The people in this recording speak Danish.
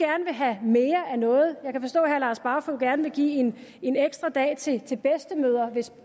have mere af noget jeg kan forstå herre lars barfoed gerne vil give en ekstra dag til bedstemødre